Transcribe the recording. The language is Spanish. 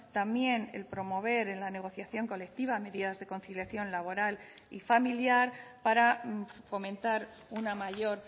también el promover en la negociación colectiva medidas de conciliación laboral y familiar para fomentar una mayor